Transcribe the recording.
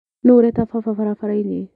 Nũu ũreta baba barabarainĩ.